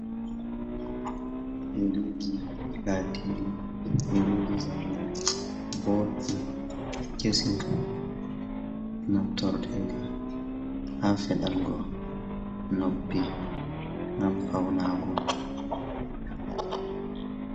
Yeriji latiɗi iriji zamini boɗɗi kesi natoredi ha feɗango noppi ngam fauna go.